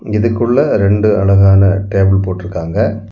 இதுக்குள்ள ரெண்டு அழகான டேபிள் போட்டு இருக்காங்க.